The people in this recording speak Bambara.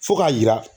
Fo k'a yira